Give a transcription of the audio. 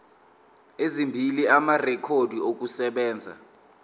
ezimbili amarekhodi okusebenza